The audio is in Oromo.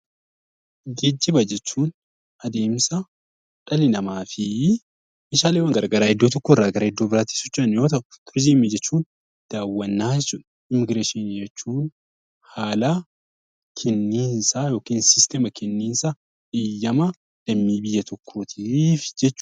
Geejjiba jechuun adeemsa dhalli namaa fi meeshaaleen garaagaraa iddoo tokkorraa gara iddoo biraatti socho'an yoo ta'u, turizimii jechuun daawwannaa jechuudha. Immiigiresshinii jechuun haala kenniinsa heeyyama lammii biyya tokkooti.